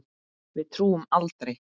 Við túrum aldrei!